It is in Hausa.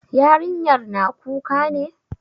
Yarinyar na kuka ne?